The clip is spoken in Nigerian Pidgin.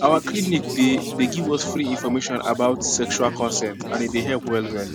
our clinic dey dey give us free information about sexual consent and e dey help well well